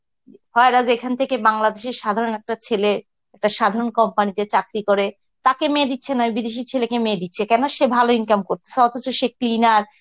আর আজ এখান থেকে বাংলাদেশের সাধারণ একটা ছেলে, একটা সাধারন company তে চাকরি করে তাকে মেয়ে দিচ্ছে না ওই বিদেশি ছেলেকে মেয়ে দিচ্ছে কেন সে ভালো income করছে, অথচ সে cleaner